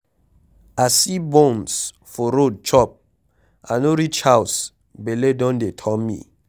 I see buns for road chop, I no reach house bele don dey turn me.